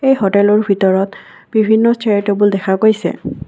এই হোটেলৰ ভিতৰত বিভিন্ন চিয়াৰ টেবুল দেখা গৈছে।